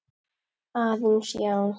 Aðeins, já.